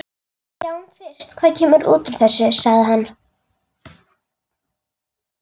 Sjáum fyrst hvað kemur út úr þessu, sagði hann.